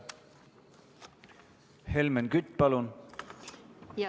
Helmen Kütt, palun!